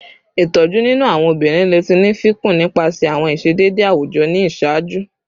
Itoju ninu awọn obinrin le ti ni fikun nipasẹ awọn iṣedede awujọ ni iṣaaju